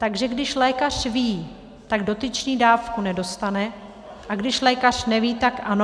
Takže když lékař ví, tak dotyčný dávku nedostane, a když lékaře neví, tak ano?